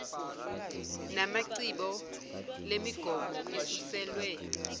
namacbo lemigomo isuselwe